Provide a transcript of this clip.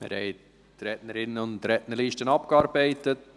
Wir haben die Rednerinnen- und Rednerliste abgearbeitet.